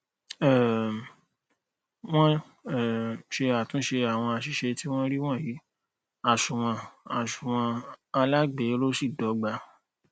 um wọn um ṣe àtúnṣe àwọn àṣìṣe tí wọn rí wọnyí àsunwon àsunwon alágbèéró sì dọgba